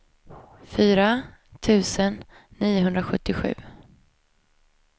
fyra tusen niohundrasjuttiosju